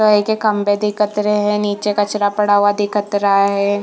High के खम्बे दिखत रहे है नीचे कचरा पड़ा हुआ दिखत रहा है।